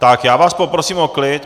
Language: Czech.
Tak já vás poprosím o klid.